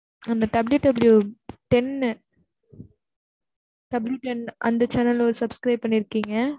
அந்த www ten அந்த channel ல ஒரு subscribe பண்ணிருக்கீங்க.